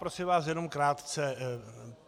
Prosím vás, jenom krátce.